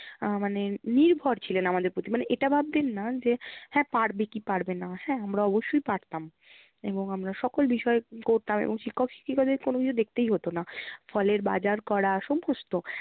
আহ মানে নির্ভর ছিলেন আমাদের প্রতি মানে এটা ভাবতেন না যে হ্যাঁ পারবে কি পারবে না। হ্যাঁ আমরা অবশ্যই পারতাম এবং আমরা সকল বিষয়ে করতাম এবং শিক্ষক শিক্ষিকাদের কোনো কিছু দেখতেই হতো না। ফলের বাজার করা, সমস্ত